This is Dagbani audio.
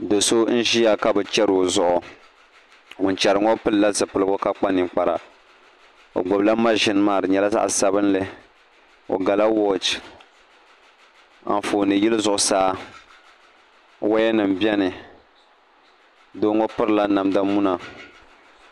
Do so n ʒiya ka bi chɛri o zuɣu ŋun chɛri ŋo pilila zipiligu ka kpa ninkpara o gbubila mashin maa di nyɛla zaɣ sabinli o gala wooch Anfooni yili zuɣusaa woya nim biɛni doo ŋo pirila namda muna